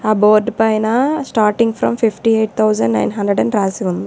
ఆ బోర్డ్ పైన starting from fifty eight thousand nine hundred అని రాసి ఉంది.